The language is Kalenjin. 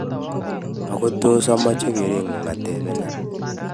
ko tos amache kereng'ung atebenen